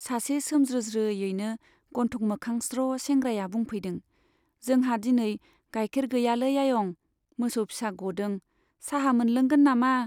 सासे सोमज्रोज्रोयैनो गन्थं मोखां स्र' सेंग्राया बुंफैदों, जोंहा दिनै गाइखेर गैयालै आयं, मोसौ फिसा गदों, चाहा मोनलोंगोन नामा ?